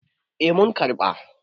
eh mun karɓa